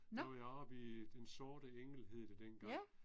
Der var jeg oppe i Den sorte Engel hed det dengang